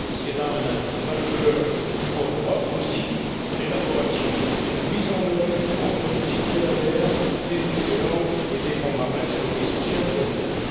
C'est là un atout majeur pour l'Europe, aussi l'élaboration et la mise en œuvre d'une grande politique de la mer, des océans et des fonds marins sont essentielles pour demain.